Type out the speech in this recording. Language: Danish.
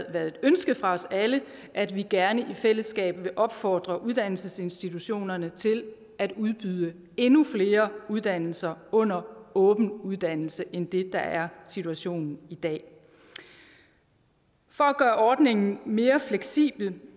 været et ønske fra os alle at vi gerne i fællesskab vil opfordre uddannelsesinstitutionerne til at udbyde endnu flere uddannelser under åben uddannelse end det der er situationen i dag for at gøre ordningen mere fleksibel